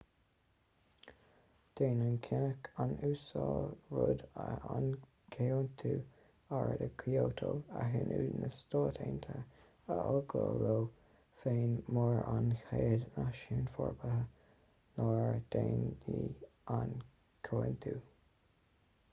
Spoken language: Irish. déanann cinneadh an uasail rudd an comhaontú aeráide kyoto a shíniú na stát aontaithe a fhágáil leo féin mar an chéad náisiún forbartha nár daingnigh an chomhaontú